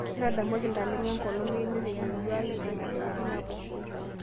ntadamuaki ntalengo enkolong einoto e yieyi aai engor e wiki nabo